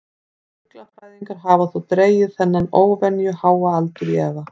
Fuglafræðingar hafa þó dregið þennan óvenju háa aldur í efa.